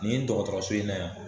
Nin dɔgɔtɔrɔso in na yan